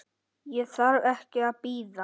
Ég þarf ekki að bíða.